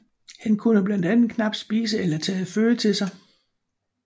Han kunne blandt andet knapt spise eller tage føde til sig